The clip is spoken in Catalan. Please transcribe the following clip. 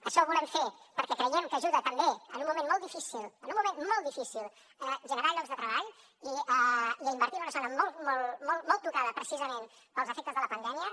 això ho volem fer perquè creiem que ajuda també en un moment molt difícil en un moment molt difícil a generar llocs de treball i a invertir en una zona molt tocada precisament pels efectes de la pandèmia